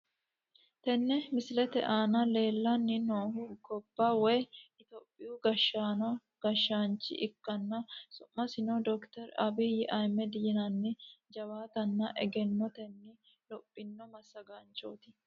tenne misilete aana leellanni noohu gobba woy itiyophiyaa gashshino gashshaancho ikkanna su'masino dokiteri abiyyi ahiimmedi yinanni jawaatanna egennotenni lophino massagaanchooti.